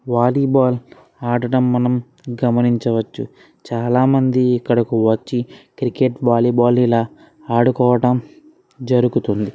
వాలీ ball ఆడడం మనంగమనించవచ్చు. చాలామంది ఇక్కడకు వచ్చి క్రికెట్ వాలీ బాల్ ఇలా ఆడుకోవడం జరుగుతుంది.